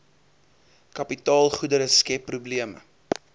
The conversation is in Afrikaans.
kapitaalgoedere skep probleme